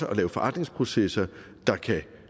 at lave forandringsprocesser der kan